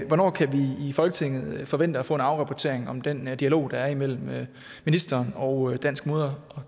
hvornår kan vi i folketinget forvente at få en afrapportering om den dialog der er imellem ministeren og dansk mode